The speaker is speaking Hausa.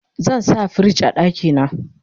zan sa firij a ɗakina